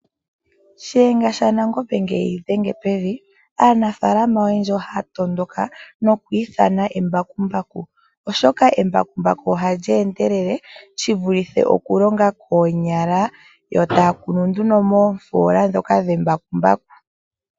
Shiyenga shaNangombe ngele eyi dhenge pevi, aanafaalama oyendji ohaya tondoka nokwiithana embakumbaku oshoka embakumbaku ohali endelele shivulithe okulonga koonyala yo taakunu nduno moofoola dhoka dhembakumbaku.